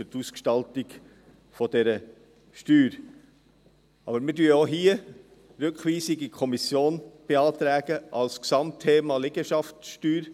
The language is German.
Aber wir beantragen auch hier Rückweisung in die Kommission, als Gesamtthema Liegenschaftssteuer.